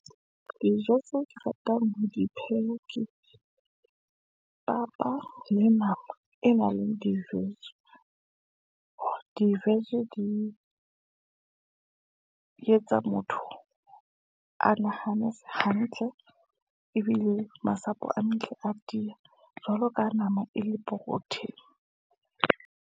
Dijo tseo ke ratang ho di pheha ke papa le nama, e nang le di-vege, di-vege di etsa motho a nahanesise hantle, ebile masapo a matle a tiya, jwalo ka nama e le protein-e.